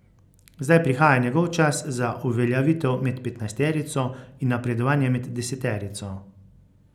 Zdaj prihaja njegov čas za uveljavitev med petnajsterico in napredovanje med deseterico.